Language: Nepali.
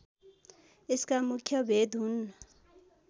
यसका मुख्य भेद हुन्